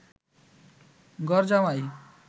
ঘরজামাই